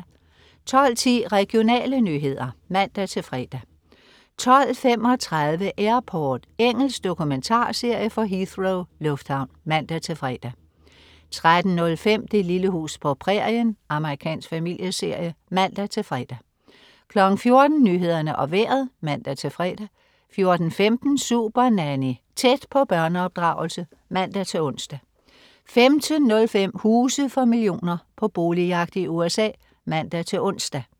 12.10 Regionale nyheder (man-fre) 12.35 Airport. Engelsk dokumentarserie fra Heathrow lufthavn (man-fre) 13.05 Det lille hus på prærien. Amerikansk familieserie (man-fre) 14.00 Nyhederne og Vejret (man-fre) 14.15 Supernanny. Tæt på børneopdragelse (man-ons) 15.05 Huse for millioner. På boligjagt i USA (man-ons)